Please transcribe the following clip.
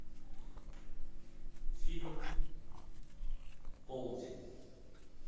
фильм полдень